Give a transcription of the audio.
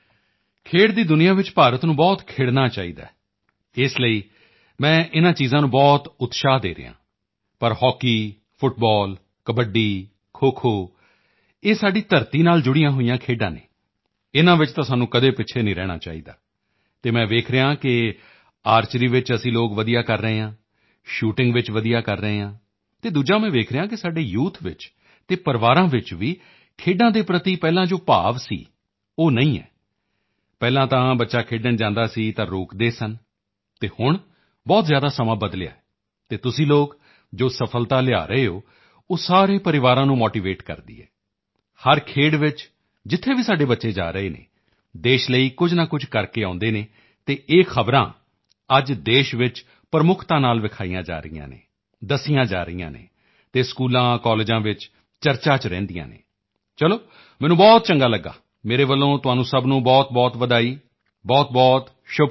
ਖੇਡ ਦੀ ਦੁਨੀਆ ਵਿੱਚ ਭਾਰਤ ਨੂੰ ਬਹੁਤ ਖਿੜਨਾ ਚਾਹੀਦਾ ਹੈ ਇਸ ਲਈ ਮੈਂ ਇਨ੍ਹਾਂ ਚੀਜ਼ਾਂ ਨੂੰ ਬਹੁਤ ਉਤਸ਼ਾਹ ਦੇ ਰਿਹਾ ਹਾਂ ਪਰ ਹਾਕੀ ਫੁੱਟਬਾਲ ਕਬੱਡੀ ਖੋਖੋ ਇਹ ਸਾਡੀ ਧਰਤੀ ਨਾਲ ਜੁੜੀਆਂ ਹੋਈਆਂ ਖੇਡਾਂ ਹਨ ਇਨ੍ਹਾਂ ਵਿੱਚ ਤਾਂ ਸਾਨੂੰ ਕਦੇ ਪਿੱਛੇ ਨਹੀਂ ਰਹਿਣਾ ਚਾਹੀਦਾ ਅਤੇ ਮੈਂ ਵੇਖ ਰਿਹਾ ਹਾਂ ਕਿ ਆਰਚਰੀ ਵਿੱਚ ਅਸੀਂ ਲੋਕ ਵਧੀਆ ਕਰ ਰਹੇ ਹਾਂ ਸ਼ੂਟਿੰਗ ਵਿੱਚ ਵਧੀਆ ਕਰ ਰਹੇ ਹਾਂ ਅਤੇ ਦੂਜਾ ਮੈਂ ਵੇਖ ਰਿਹਾ ਹਾਂ ਕਿ ਸਾਡੇ ਯੂਥ ਵਿੱਚ ਅਤੇ ਪਰਿਵਾਰਾਂ ਵਿੱਚ ਵੀ ਖੇਡਾਂ ਦੇ ਪ੍ਰਤੀ ਪਹਿਲਾਂ ਜੋ ਭਾਵ ਸੀ ਉਹ ਨਹੀਂ ਹੈ ਪਹਿਲਾਂ ਤਾਂ ਬੱਚਾ ਖੇਡਣ ਜਾਂਦਾ ਸੀ ਤਾਂ ਰੋਕਦੇ ਸਨ ਅਤੇ ਹੁਣ ਬਹੁਤ ਜ਼ਿਆਦਾ ਸਮਾਂ ਬਦਲਿਆ ਹੈ ਅਤੇ ਤੁਸੀਂ ਲੋਕ ਜੋ ਸਫ਼ਲਤਾ ਲਿਆ ਰਹੇ ਹੋ ਉਹ ਸਾਰੇ ਪਰਿਵਾਰਾਂ ਨੂੰ ਮੋਟੀਵੇਟ ਕਰਦੀ ਹੈ ਹਰ ਖੇਡ ਵਿੱਚ ਜਿੱਥੇ ਵੀ ਸਾਡੇ ਬੱਚੇ ਜਾ ਰਹੇ ਹਨ ਦੇਸ਼ ਲਈ ਕੁਝ ਨਾ ਕੁਝ ਕਰਕੇ ਆਉਂਦੇ ਹਨ ਅਤੇ ਇਹ ਖ਼ਬਰਾਂ ਅੱਜ ਦੇਸ਼ ਵਿੱਚ ਪ੍ਰਮੁੱਖਤਾ ਨਾਲ ਵਿਖਾਈਆਂ ਜਾ ਰਹੀਆਂ ਹਨ ਦੱਸੀਆਂ ਜਾ ਰਹੀਆਂ ਹਨ ਅਤੇ ਸਕੂਲਾਂਕਾਲਜਾਂ ਵਿੱਚ ਵੀ ਚਰਚਾ ਚ ਰਹਿੰਦੀਆਂ ਹਨ ਚਲੋ ਮੈਨੂੰ ਬਹੁਤ ਚੰਗਾ ਲੱਗਾ ਮੇਰੇ ਵੱਲੋਂ ਤੁਹਾਨੂੰ ਸਭ ਨੂੰ ਬਹੁਤਬਹੁਤ ਵਧਾਈਆਂ ਬਹੁਤਬਹੁਤ ਸ਼ੁਭਕਾਮਨਾਵਾਂ